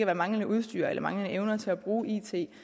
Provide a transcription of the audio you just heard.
af manglende udstyr eller manglende evner til at bruge it